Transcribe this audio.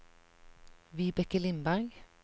Vibeke Lindberg